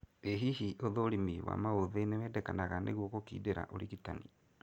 ĩ hihi ũthũrimi wa maũthĩ nĩwendekanaga nĩguo gũkindĩra ũrigitani?